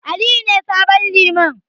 Aliyu ne sabon Liman.